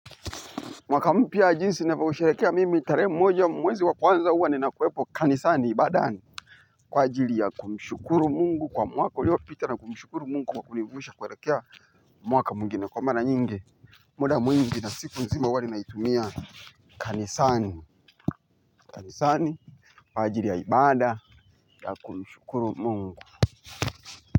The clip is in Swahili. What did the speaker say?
Mwaka mpya jinsi navousherekea mimi tarehe mmoja mwezi wa kwanza uwa ninakuwepo kanisani ibadani. Kwa ajili ya kumshukuru Mungu kwa mwaka uliopita na kumshukuru Mungu kwa kunivusha kuerekea mwaka mwingine. Kwa mara nyingi muda mwingi na siku nzima uwa ninaitumia kanisani. Kanisani kwa ajili ya ibada ya kumshukuru Mungu.